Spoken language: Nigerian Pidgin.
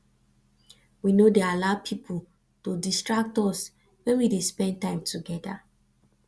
we no dey allow pipu to distract us wen we dey spend time togeda